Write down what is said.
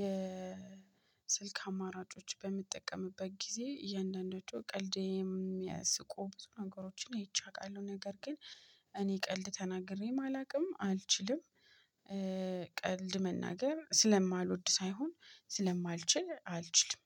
የስልክ አማራጮች በምጠቀምበት ጊዜ እያንዳንዳቸው ቀልድን የሚያስቁ ብዙ ነገሮችን ይቻላል። ነገር ግን እኔ ቀልድ ተናግሬ አላውቅም አልችልም። ቀልድ መናገር ስለማልወድ ሳይሆን ስለማልችል አልችልም